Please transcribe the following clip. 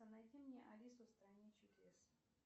найди мне алису в стране чудес